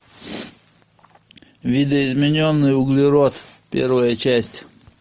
видоизмененный углерод первая часть